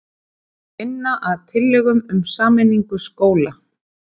Miklar sveiflur í gengi hinna ýmsu gjaldmiðla ollu þá, sem nú, talsverðum vandræðum.